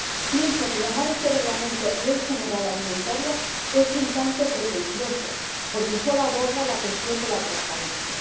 Pienso que llamar a este Reglamento ley general alimentaria es un tanto pretencioso porque solo aborda la cuestión de la transparencia.